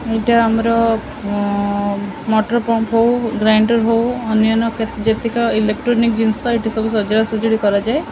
ଏଇଟା ଆମର ଅଁ ମୋଟର ପମ୍ପ ହଉ ଗ୍ରାଇଣ୍ଡର ହଉ ଅନ୍ୟାନ୍ୟ କେ ଯେତିକି ଇଲେକଟ୍ରୋନିକ ଜିନିଷ ଏଇଠି ସବୁ ସଜଡା ସଜାଡି କରାଯାଏ ।